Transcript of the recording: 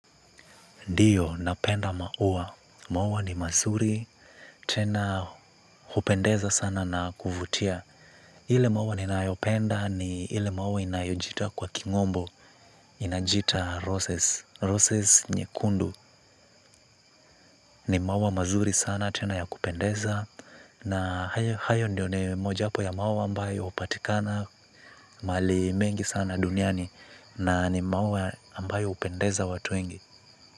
Ndiyo napenda maua, maua ni mazuri tena hupendeza sana na kuvutia. Ile maua ninayo penda ni ile maua inayojiita kwa kimombo, inajiita roses. Roses nyekundu ni maua mazuri sana tena ya kupendeza na hayo ndio ni moja wapo ya maua ambayo hupatikana mahali mengi sana duniani nanimaua ambayo hupendeza watu wengi.